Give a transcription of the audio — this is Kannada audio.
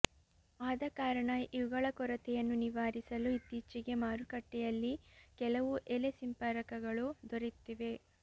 ಆದಕಾರಣ ಇವುಗಳ ಕೊರತೆಯನ್ನು ನಿವಾರಿಸಲು ಇತ್ತೀಚೆಗೆ ಮಾರುಕಟ್ಟೆಯಲ್ಲಿ ಕೆಲವು ಎಲೆ ಸಿಂಪರಕಗಳು ದೊರೆಯುತ್ತಿವೆ